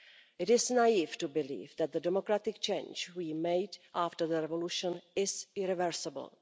It is naive to believe that the democratic change we made after the revolution is irreversible.